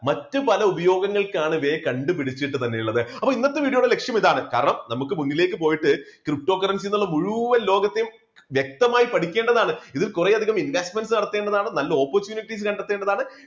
മറ്റുപല ഉപയോഗങ്ങൾക്കാണ് ഇവയെ കണ്ടുപിടിച്ചിട്ട് തന്നെ ഉള്ളത്. അപ്പോ ഇന്നത്തെ video യുടെ ലക്ഷ്യം ഇതാണ് കാരണം നമുക്ക് മുന്നിലേക്ക്പോയിട്ട് ptocurrency ന്നുള്ള മുഴുവൻ ലോകത്തെയും വ്യക്തമായി പഠിക്കേണ്ടതാണ്, ഇതിൽ കുറെയധികം investment നടത്തേണ്ടതാണ്, നല്ല opportunities കണ്ടെത്തേണ്ടതാണ്,